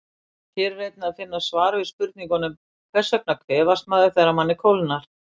Hér er einnig að finna svar við spurningunum: Hvers vegna kvefast maður þegar manni kólnar?